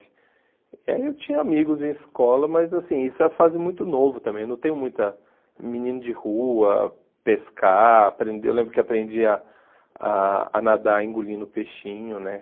E aí eu tinha amigos em escola, mas assim, isso é a fase muito nova também, eu não tenho muita... Menino de rua, pescar, aprender, eu lembro que aprendi a ah ah nadar engolindo peixinho, né?